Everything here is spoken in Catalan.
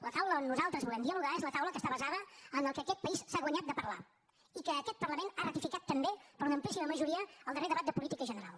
la taula on nosaltres volem dialogar és la taula que està basada en el que aquest país s’ha guanyat de parlar i que aquest parlament ha ratificat també per una amplíssima majoria al darrer debat de política general